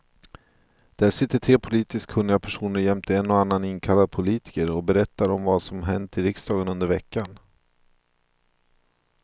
Där sitter tre politiskt kunniga personer jämte en och annan inkallad politker och berättar om vad som hänt i riksdagen under veckan.